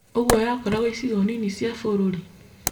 Ũguo yakoragwo icigo nini cia bũrũri